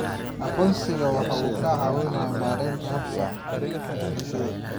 Aqoonsigu waxa uu caawiyaa maaraynta habka doorashada.